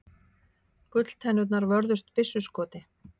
Gulltennurnar vörðust byssuskoti